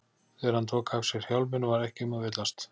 Þegar hann tók af sér hjálminn var ekki um að villast.